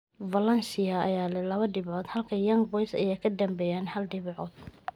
Valencia ayaa leh laba dhibcood halka Young Boys ay ka dambeeyaan haal dhibcood.